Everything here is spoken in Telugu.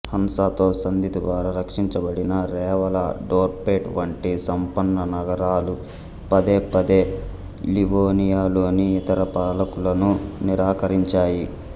హన్సాతో సంధి ద్వారా సంరక్షించబడిన రెవాల డోర్పాట్ వంటి సంపన్న నగరాలు పదేపదే లివోనియాలోని ఇతర పాలకులను నిరాకరించాయి